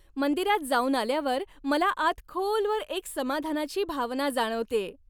मंदिरात जाऊन आल्यावर मला आत खोलवर एक समाधानाची भावना जाणवतेय.